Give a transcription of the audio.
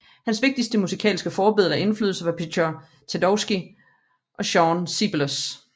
Hans vigtigste musikalske forbilleder og inflydelser var Pjotr Tjajkovskij og Jean Sibelius